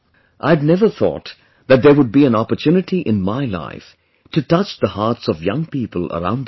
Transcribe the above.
I had never thought that there would be an opportunity in my life to touch the hearts of young people around the world